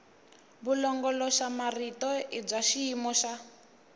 vulongoloxamarito i bya xiyimo xa